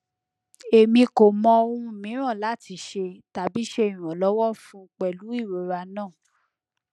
emi ko mọ ohun miiran lati ṣe tabi ṣe iranlọwọ fun pẹlu irora naa